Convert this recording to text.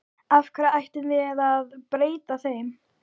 Af hverju ættum við að breyta þeim?